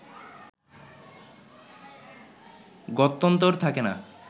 গত্যন্তর থাকে না